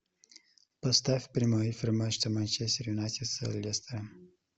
поставь прямой эфир матча манчестер юнайтед с лестером